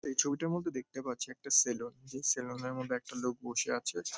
এই ছবিটার মধ্যে দেখতে পাচ্ছি একটা সেলুন যেই সেলুন -এর মধ্যে একটা লোক বসে আছে।